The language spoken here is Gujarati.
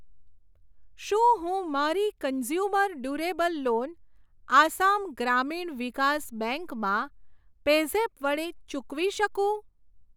શું હું મારી કન્ઝ્યુમર ડુરેબલ લોન આસામ ગ્રામીણ વિકાસ બેંક માં પેઝેપ વડે ચૂકવી શકું?